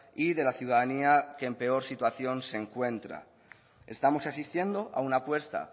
y de la ciudadanía que en peor situación se encuentra estamos asistiendo a una apuesta